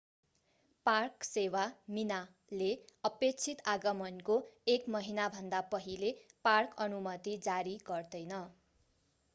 Park सेवा minae ले अपेक्षित आगमनको एक महिनाभन्दा पहिले पार्क अनुमति जारी गर्दैन।